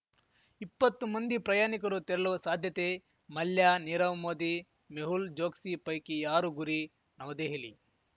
ಇಪ್ಪತ್ತು ಮಂದಿ ಪ್ರಯಾಣಿಕರು ತೆರಲುವ ಸಾಧ್ಯತೆ ಮಲ್ಯ ನೀರವ್‌ ಮೋದಿ ಮೆಹುಲ್‌ ಚೋಕ್ಸಿ ಪೈಕಿ ಯಾರು ಗುರಿ ನವದೆಹಲಿ